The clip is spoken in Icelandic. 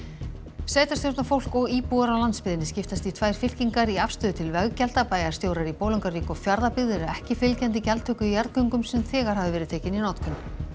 sveitarstjórnarfólk og íbúar á landsbyggðinni skiptast í tvær fylkingar í afstöðu til veggjalda bæjarstjórar í Bolungarvík og Fjarðabyggð eru ekki fylgjandi gjaldtöku í jarðgöngum sem þegar hafa verið tekin í notkun